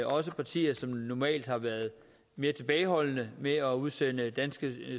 også partier som normalt har været mere tilbageholdende med at udsende danske